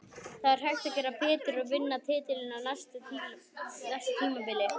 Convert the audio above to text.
Það er hægt að gera betur og vinna titilinn á næsta tímabili.